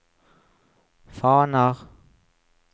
faner